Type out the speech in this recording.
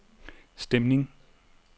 stemning